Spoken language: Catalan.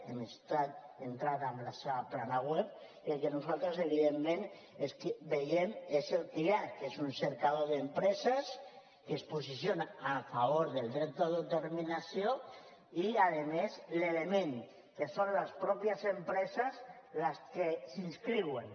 hem entrat a la seva plana web i nosaltres evidentment veiem què és el que hi ha que és un cercador d’empreses que es posicionen a favor del dret d’autodeterminació i a més l’element que són les mateixes empreses les que s’inscriuen